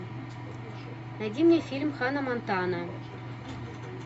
найди мне фильм ханна монтана